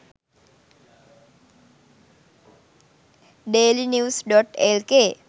dailynews.lk